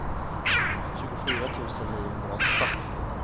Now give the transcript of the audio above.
tjugofyra tusen niohundraåtta